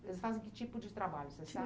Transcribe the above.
Eles fazem que tipo de trabalho, você